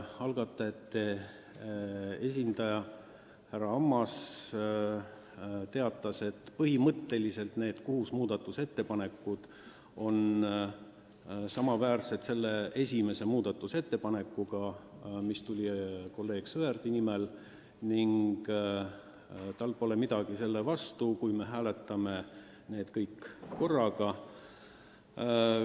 Algatajate esindaja härra Ammas teatas, et põhimõtteliselt kattuvad need kuus muudatusettepanekut esimese ettepanekuga, mille esitas kolleeg Sõerd, ning tal pole midagi selle vastu, kui me hääletame need kõik korraga.